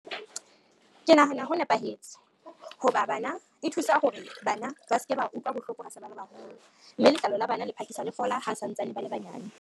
Ke nahana ho nepahetse ho ba e thusa hore bana ba se ke ba utlwa bohloko ba se ba le baholo, mme letlalo la bana le phakisa le fola ha sa ntsane ba le banyane.